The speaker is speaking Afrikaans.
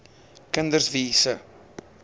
kinders wie se